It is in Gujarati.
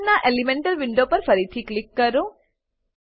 કાર્બન નાં એલિમેન્ટલ વિન્ડો પર ફરીથી ક્લિક કરો